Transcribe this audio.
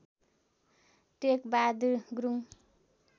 Tekbahadur Gurung